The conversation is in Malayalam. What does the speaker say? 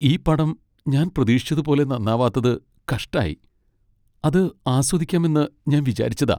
ഈ പടം ഞാൻ പ്രതീക്ഷിച്ചത്പോലെ നന്നാവാത്തത് കഷ്ടായി. അത് ആസ്വദിക്കാമെന്ന് ഞാൻ വിചാരിച്ചതാ.